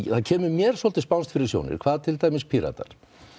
það kemur mér svolítið spánskt fyrir sjónir hvað til dæmis Píratar